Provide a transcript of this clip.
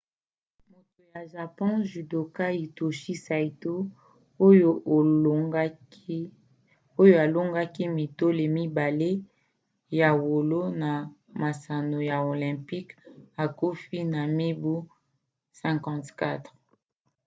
moto ya japon judoka hitoshi saito oyo alongaki mitole mibale ya wolo na masano ya olympique akufi na mibu 54